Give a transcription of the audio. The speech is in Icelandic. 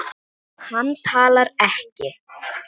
Hann talar ekki.